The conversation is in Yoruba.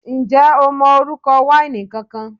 Ǹjẹ́ o mọ orúkọ wáìnì kankan?